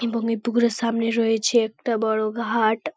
এবং এই পুকুরের সামনে রয়েছে একটা বড় ঘাট।